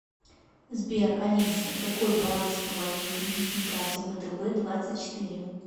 сбер алиса какой баланс по моей кредитной карте втб двадцать четыре